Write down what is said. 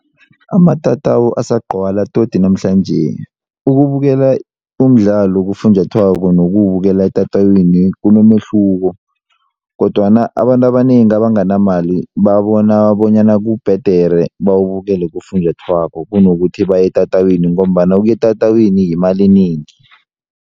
Amatatawu asagcwala todi namhlanje, ukubukela umdlalo kufunjathwako nokuwubukela etatawini kunomehluko kodwana abantu abanengi abanganamali babona bonyana kubhedere bawubukele kufunjathwako kunokuthi baye etatawini ngombana ukuya etatawini yimali enengi.